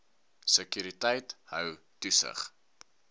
sekuriteit hou toesig